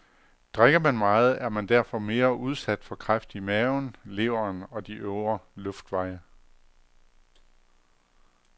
Drikker man meget, er man derfor mere udsat for kræft i maven, leveren og de øvre luftveje.